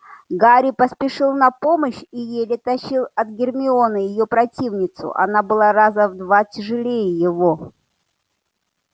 гарри поспешил на помощь и еле тащил от гермионы её противницу она была раза в два тяжелее его